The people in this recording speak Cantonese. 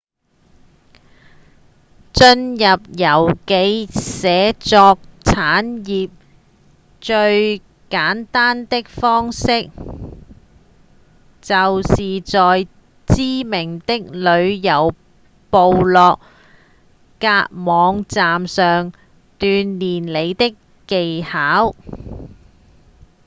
進入遊記寫作產業最簡單的方式就是在知名的旅遊部落格網站上鍛鍊你的技巧